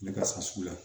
Ne ka sasugu la